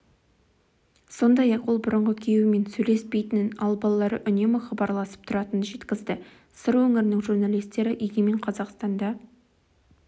сондай-ақ ол бұрынғы күйеуімен сөйлеспейтінін ал балалары үнемі хабарласып тұратынын жеткізді сыр өңірінің журналистері егемен қазақстанда